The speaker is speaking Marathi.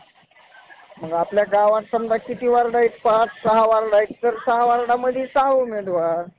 पर्यावरण म्हणजे जैविक आणि भौतिक घटकांची बेरीज. भौतिक आणि जैविक घटक कोणत्याही वातावरणात एकमेकांशी संवाद साधतात.